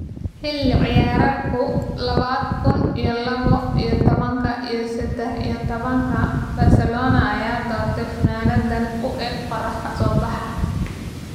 Xilli ciyaareedkii labada kun iyo labo iyo tobanka iyo sedax iyo tobanka Barcelona ayaa dooratay funaanaddan u eeg qorrax ka soo baxa.